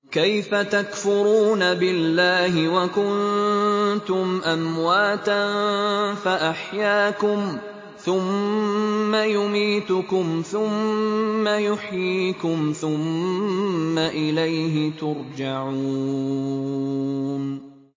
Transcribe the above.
كَيْفَ تَكْفُرُونَ بِاللَّهِ وَكُنتُمْ أَمْوَاتًا فَأَحْيَاكُمْ ۖ ثُمَّ يُمِيتُكُمْ ثُمَّ يُحْيِيكُمْ ثُمَّ إِلَيْهِ تُرْجَعُونَ